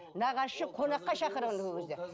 нағашысы қонаққа шақырған ол кезде